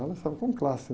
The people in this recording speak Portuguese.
Ela saiu com classe